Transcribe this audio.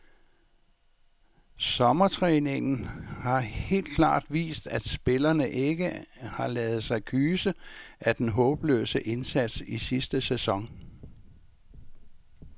Sommertræningen har helt klart vist, at spillerne ikke har ladet sig kyse af den håbløse indsats i sidste sæson.